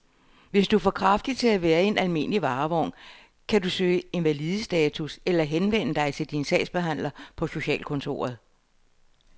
Hvis du er for kraftig til at være i en almindelig varevogn, kan du kan søge invalidestatus eller henvende dig til din sagsbehandler på socialkontoret.